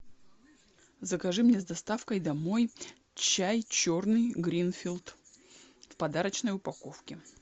закажи мне с доставкой домой чай черный гринфилд в подарочной упаковке